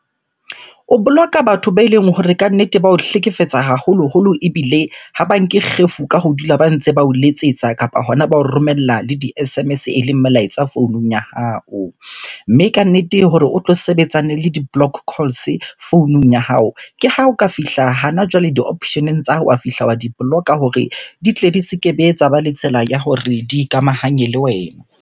O block-a batho beleng hore kannete ba o hlekefetsa haholoholo ebile ha ba nke kgefu ka ho dula ba ntse ba o letsetsa, kapa hona ba o romella le di-S_M_S eleng molaetsa founung ya hao. Mme kannete hore o tlo sebetsane le di-block calls founung ya hao, ke ha o ka fihla hana jwale di-option-eng tsa hao, wa fihla wa di-block-a hore di tle di se kebe tsa ba le tsela ya hore di ikamahanye le wena.